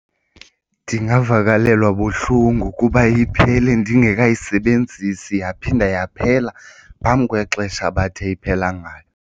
Ndingavakalelwa buhlungu kuba iphele ndingekayisebenzisi yaphinda yaphela phambi kwexesha abathe iphela ngalo.